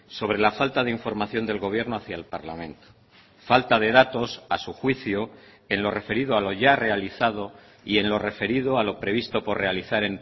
sobre la falta de información del gobierno hacia el parlamento falta de datos a su juicio en lo referido a lo ya realizado y en lo referido a lo previsto por realizar